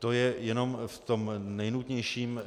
To je jenom v tom nejnutnějším.